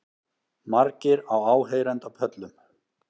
Margir á áheyrendapöllum